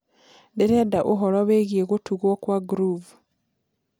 ndĩrenda ũhoro wĩĩgĩe gutugwo kwa groove